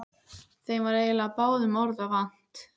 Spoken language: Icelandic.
Þeim var eiginlega báðum orða vant.